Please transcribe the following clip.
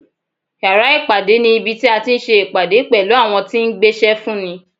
Yàrá ìpàdé ní ibi tí a ti ń se ìpàdé pẹ̀lú àwọn tí ń gbéṣẹ́ fún ni.